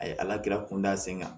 A ye ala kun da sen kan